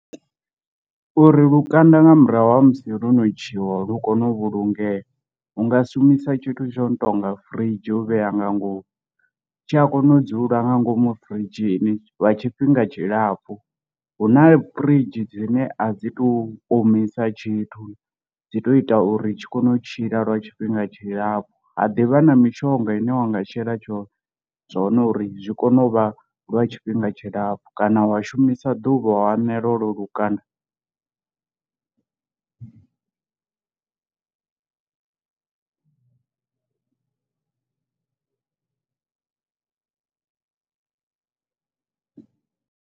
Uri lukanda nga murahu ha musi lo no ntshiwa lu kone u vhulungea hunga shumisa tshithu tsho no tonga firidzhi u vhea nga ngomu, tshi a kona u dzula nga ngomu firidzhini lwa tshifhinga tshilapfhu, huna firidzhi dzine a dzi to omisa tshithu dzi to ita uri tshi kone u tshila lwa tshifhinga tshilapfhu ha ḓi vha na mishonga ine wanga shela tshone zwone uri zwi kone u vha lwa tshifhinga tshilapfhu kana wa shumisa misa ḓuvha u anela holo lukanda.